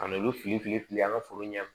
Ka n'olu fili fili fili an ka foro ɲɛ